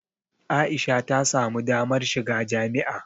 A'isha ta samu damar shiga jami'a.